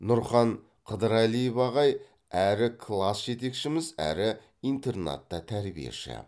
нұрхан қыдырәлиев ағай әрі класс жетекшіміз әрі интернатта тәрбиеші